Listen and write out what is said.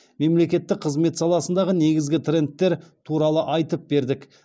мемлекеттік қызмет саласындағы негізгі трендтер туралы айтып бердік